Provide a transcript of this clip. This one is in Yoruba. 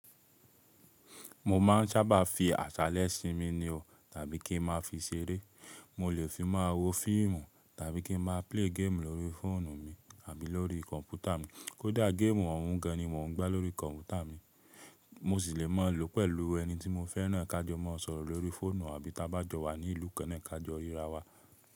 Mo máa ń sábà fi àsálẹ́ sinmi ni o, tàbí kí n máa fi ṣeré. Mo lè fi máa wo fíìmù tàbí kí n má play game lórí fóònù mi àbí lórí kọ̀npútà mi. Kódà game òhún gan ni mò n gbá lórí kọ̀npútà mi. Mo sì lè máa lòó pẹ̀lú ẹni tí mo fẹ́ràn ká jọ mó sọ̀rọ̀ lórí fóònù àbí tá bá jọ wà ní ìlú kan náà ká jọ ríra wa.